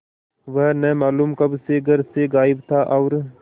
वह न मालूम कब से घर से गायब था और